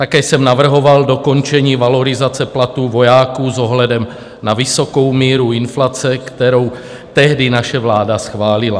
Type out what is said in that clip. Také jsem navrhoval dokončení valorizace platů vojáků s ohledem na vysokou míru inflace, kterou tehdy naše vláda schválila.